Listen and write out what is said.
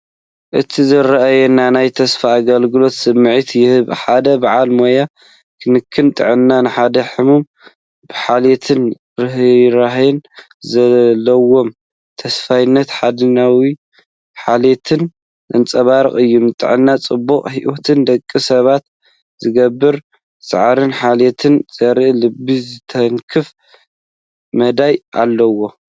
እቲ ዝረኣየኒ ናይ ተስፋን ኣገልግሎትን ስምዒት ይህበኒ። ሓደ በዓል ሞያ ክንክን ጥዕና ንሓደ ሕሙም ብሓልዮትን ርህራሄን፡ ዘለዎም ተወፋይነትን ሓድሕዳዊ ሓልዮትን ዘንጸባርቕ እዩ። ንጥዕናን ጽቡቕ ሂወትን ደቂ ሰባት ዝግበር ጻዕርን ሓልዮትን ዘርኢ ልቢ ዝትንክፍ መዳይ ኣለዎ።